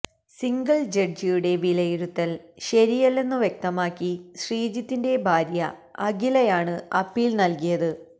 single ജഡ്ജിയുടെ വിലയിരുത്തൽ ശരിയല്ലെന്നു വ്യക്തമാക്കി ശ്രീജിത്തിന്റെ ഭാര്യ അഖിലയാണ് അപ്പീൽ നൽകിയത്